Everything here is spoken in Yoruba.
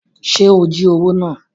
Ṣe o jí owó náà?